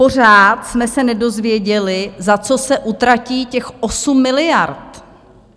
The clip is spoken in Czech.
Pořád jsme se nedozvěděli, za co se utratí těch 8 miliard.